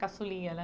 Caçulinha, né?